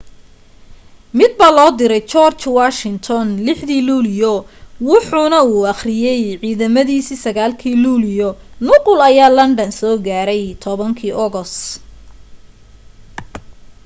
mid baa loo diray george washington 6 dii luulyo wuxuna u akhriyay ciidamadiisa 9 kii luulyo nuqul ayaa london soo gaaray 10 kii ogos